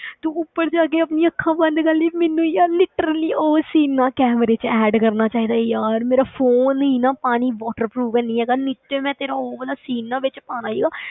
ਤੂੰ ਉੱਪਰ ਜਾ ਕੇ ਆਪਣੀਆਂ ਅੱਖਾਂ ਬੰਦ ਕਰ ਲਈਆਂ ਮੈਨੂੰ ਯਾਰ literally ਉਹ scene ਨਾ ਕੈਮਰੇ ਵਿੱਚ add ਕਰਨਾ ਚਾਹੀਦਾ ਸੀ ਯਾਰ, ਮੇਰਾ phone ਹੀ ਨਾ ਪਾਣੀ water proof ਨੀ ਹੈਗਾ, ਨਹੀਂ ਤੇ ਮੈਂ ਤੇਰਾ ਉਹ ਵਾਲਾ scene ਨਾ ਵਿੱਚ ਪਾਉਣਾ ਸੀਗਾ।